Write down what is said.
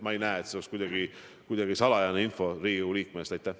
Ma ei näe, et see oleks kuidagi salajane info, mida tuleb Riigikogu liikmete eest varjata.